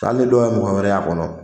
Hali ni dɔw ye mɔgɔ wɛrɛ y'a kɔnɔ